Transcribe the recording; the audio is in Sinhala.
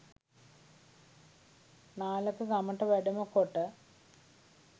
නාලක ගමට වැඩම කොට